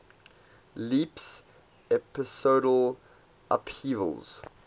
leaps episodal upheavals